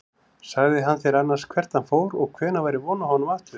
Sagði hann þér annars hvert hann fór og hvenær væri von á honum aftur?